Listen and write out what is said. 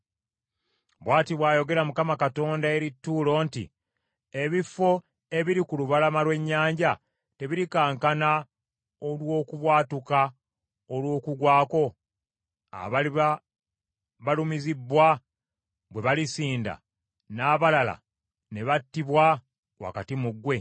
“Bw’ati bw’ayogera Mukama Katonda eri Ttuulo nti, Ebifo ebiri ku lubalama lw’ennyanja tebirikankana olw’okubwatuka olw’okugwa kwo, abaliba balumizibbwa bwe balisinda, n’abalala ne battibwa wakati mu ggwe?